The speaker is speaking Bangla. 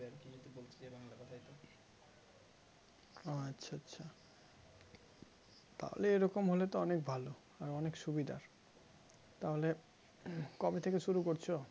ও আচ্ছা আচ্ছা তাহলে এরকম হলে তো অনেক ভালো আর অনেক সুবিধার তাহলে কবে থেকে শুরু করছো